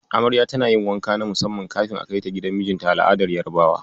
Amarya tana yin wanka na musamman kafin a kaita gidan mijinta a al'adar Yarabawa.